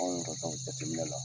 Anw yɛrɛ ka jateminɛ la.